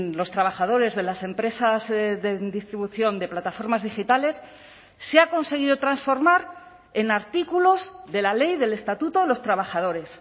los trabajadores de las empresas de distribución de plataformas digitales se ha conseguido transformar en artículos de la ley del estatuto de los trabajadores